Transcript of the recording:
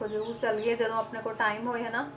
ਆਪਾਂ ਜ਼ਰੂਰ ਚੱਲੀਏ ਜਦੋਂ ਆਪਣੇ ਕੋਲ time ਹੋਏ ਹਨਾ,